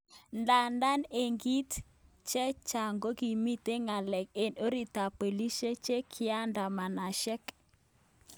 Ndadan en kit cheng chaang kokimiten ngelelik en orit ap polishek chekiadamanashek